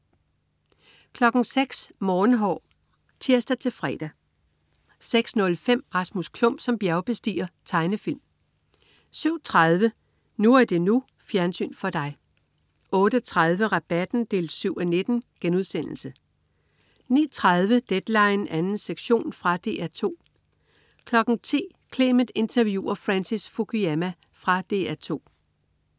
06.00 Morgenhår (tirs-fre) 06.05 Rasmus Klump som bjergbestiger. Tegnefilm 07.30 NU er det NU. Fjernsyn for dig 08.30 Rabatten 7:19* 09.30 Deadline 2. sektion. Fra DR 2 10.00 Clement interviewer Francis Fukuyama. Fra DR 2